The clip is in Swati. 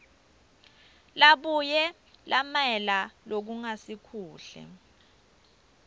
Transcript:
labuye lamela lokungasikuhle